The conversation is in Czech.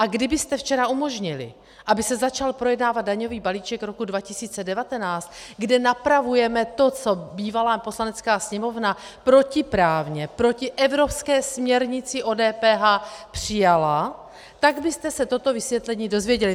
A kdybyste včera umožnili, aby se začal projednávat daňový balíček roku 2019, kde napravujeme to, co bývalá Poslanecká sněmovna protiprávně proti evropské směrnici o DPH přijala, tak byste se toto vysvětlení dozvěděli.